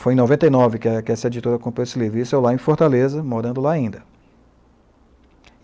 Foi em noventa e nove que que essa editora comprou esse livro, e isso é lá em Fortaleza, morando lá ainda.